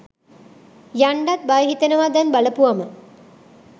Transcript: යන්ඩත් බය හිතෙනවා දැන් බලපුවම.